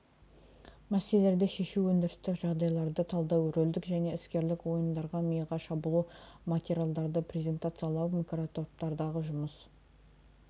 мәселелерді шешу өндірістік жағдайларды талдау рөлдік және іскерлік ойындар миға шабуыл материалдарды презентациялау микротоптардағы жұмыс